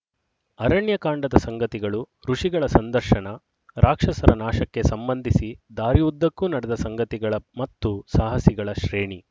ಅರಣ್ಯಕಾಂಡದ ಸಂಗತಿಗಳು ಋಷಿಗಳ ಸಂದರ್ಶನ ರಾಕ್ಷಸರ ನಾಶಕ್ಕೆ ಸಂಬಂಧಿಸಿ ದಾರಿ ಉದ್ದಕ್ಕೂ ನಡೆದ ಸಂಗತಿಗಳ ಮತ್ತು ಸಾಹಸಿಗಳ ಶ್ರೇಣಿ